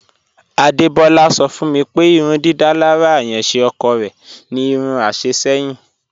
Adebọla sọ̀ fún mi pé ìrùndídalára ayànṣé ọ̀kọ̀ rẹ̀ ni irún àṣẹ̀ ṣẹ̀yìn.